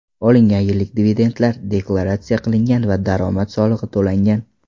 Olingan yillik dividendlar deklaratsiya qilingan va daromad solig‘i to‘langan.